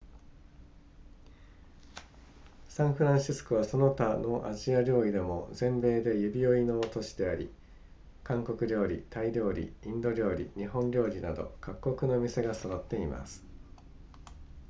サンフランシスコはその他のアジア料理でも全米で指折りの都市であり韓国料理タイ料理インド料理日本料理など各国の店が揃っています